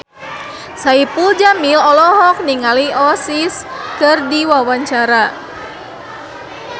Saipul Jamil olohok ningali Oasis keur diwawancara